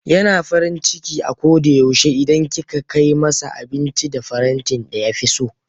Yana farin ciki a koda yaushe idan kika kai masa abinci da farantin da ya fi so.